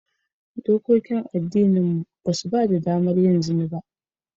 Dokokin addininmu ba su ba da damar yin zina ba